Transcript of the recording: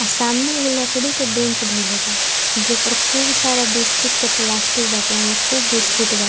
सामने एगो लकड़ी के बेंच धइले बा जे पर खुब सारा बिस्कुट के प्लास्टिक बाटे ओमें खुब बिस्कुट बा।